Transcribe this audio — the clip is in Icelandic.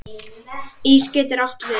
Ís getur átt við